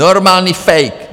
Normální fake!